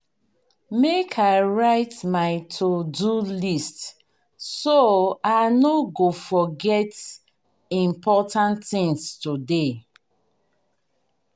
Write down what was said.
make i write my to-do list so i no go forget important things today.